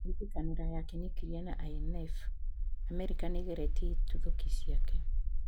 Gwĩtĩkanĩra ya kĩnuklia na INF:Amerika nĩgeretie itũthuki ciake